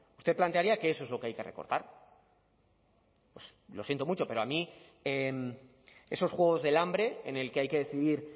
usted plantearía que eso es lo que hay que recortar pues lo siento mucho pero a mí esos juegos del hambre en el que hay que decidir